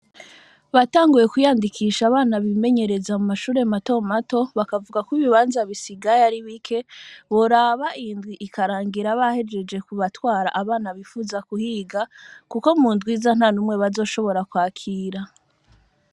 Batanguye kwiyandikisha abana bimenyereza mu mashure mato mato, bakavuga ko ibibanza bisigaye ari bike, boraba iyi ndwi ikarangira bahejeje kubatwara abana bifuza kuhiga, kuko mu ndwi iza, nta n'umwe bazoshobora kwakira.